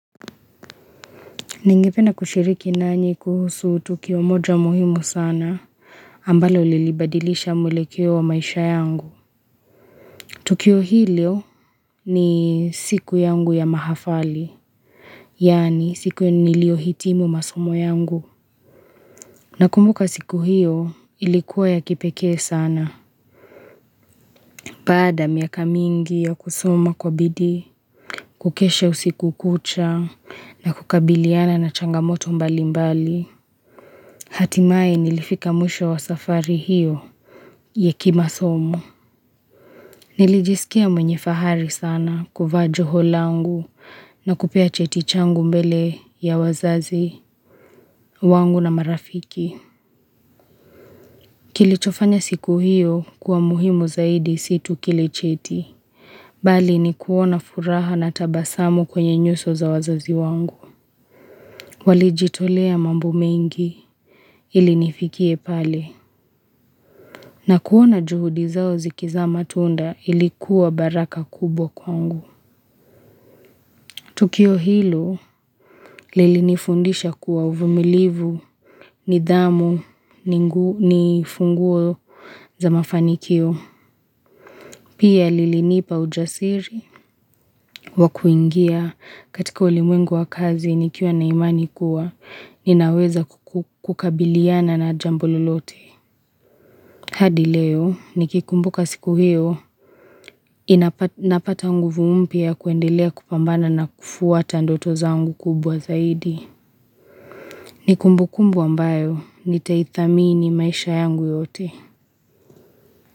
Ningependa kushiriki nanyi kuhusu Tukio moja muhimu sana ambalo ilibadilisha mulekeo wa maisha yangu Tukio hilio ni siku yangu ya mahafali Yani siku nilio hitimu masomo yangu na kumbuka siku hiyo ilikuwa ya kipekee sana Bada miaka mingi ya kusoma kwa bidi Kukeshe usiku kucha na kukabiliana na changamoto mbali mbali Hatimai nilifika muisho wa safari hiyo yekimasomo. Nilijisikia mwenye fahari sana kufa joho langu na kupea cheti changu mbele ya wazazi wangu na marafiki. Kilichofanya siku hiyo kuwa muhimu zaidi situ kilicheti. Bali ni kuona furaha na tabasamu kwenye nyuso za wazazi wangu. Walijitolea mambo mengi ilinifikie pale. Na kuona juhudi zao zikiza matunda ilikuwa baraka kubwa kwangu. Tukio hilo lili nifundisha kuwa uvumilivu, nidhamu, nifunguo za mafanikio. Pia lili nipa ujasiri wakuingia katika ulimwengu wa kazi nikiwa na imani kuwa ninaweza kukabiliana na jambo lolote. Hadi leo, nikikumbuka siku hiyo, inapata nguvu mpia kuendelea kupambana na kufuata ndoto zangu kubwa zaidi. Nikumbu kumbu ambayo, nitaitamii ni maisha yangu yote.